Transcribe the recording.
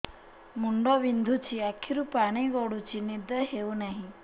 ମୁଣ୍ଡ ବିନ୍ଧୁଛି ଆଖିରୁ ପାଣି ଗଡୁଛି ନିଦ ହେଉନାହିଁ